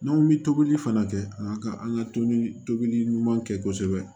N'an bɛ tobili fana kɛ an ka an ka tobili tobili ɲuman kɛ kosɛbɛ